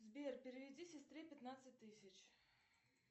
сбер переведи сестре пятнадцать тысяч